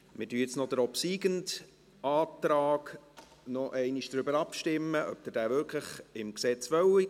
Wir stimmen nun noch über den obsiegenden Antrag ab, darüber, ob Sie diesen wirklich im Gesetz haben wollen.